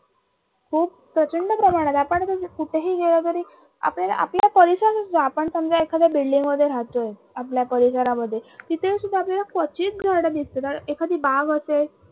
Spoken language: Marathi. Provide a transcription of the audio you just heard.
खूप प्रचंड प्रमानत आता जर आपण कुठही गेलं तरी आपल्याला आपल्या आपन समजा एखाद्या building मध्ये राहतो आहे आपल्या परिसरामध्ये तिथे सुद्धा आपल्याला कधीच झाडं दिसणार एखादी बाग असेल